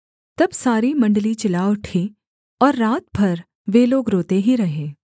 तब सारी मण्डली चिल्ला उठी और रात भर वे लोग रोते ही रहे